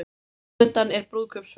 Framundan er brúðkaupsferð